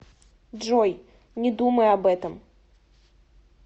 джой не думай об этом